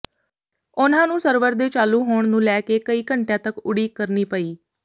ਉਨ੍ਹਾਂ ਨੂੰ ਸਰਵਰ ਦੇ ਚਾਲੂ ਹੋਣ ਨੂੰ ਲੈ ਕੇ ਕਈ ਘੰਟਿਆਂ ਤੱਕ ਉਡੀਕ ਕਰਨੀ ਪਈ